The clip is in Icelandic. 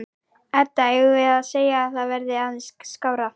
Edda: Eigum við að segja að það verði aðeins skárra?